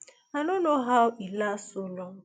i no know how e last so long